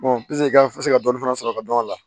ka dɔɔni fana sɔrɔ ka dɔn a la